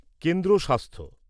কেন্দ্র স্বাস্থ্য